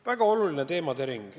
Väga oluline teemaring.